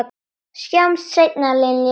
Sjáumst seinna, Linja.